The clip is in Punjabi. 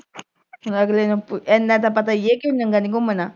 ਲੈ ਅਗਲੇ ਨੂੰ ਐਨਾ ਤਾਂ ਪਤਾ ਈ ਐ ਕਿ ਨੰਗਾ ਨੀਂ ਘੁੰਮਣਾ।